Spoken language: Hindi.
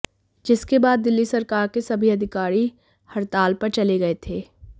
जिसके बाद दिल्ली सरकार के सभी अधिकारी हड़ताल पर चले गए थे